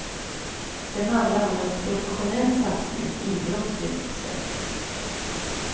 Det handlar om en professionell satsning, idrottsligt sett.